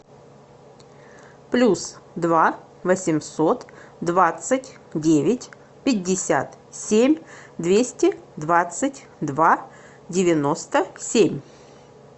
плюс два восемьсот двадцать девять пятьдесят семь двести двадцать два девяносто семь